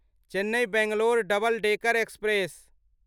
Chennai Bangalore double decker express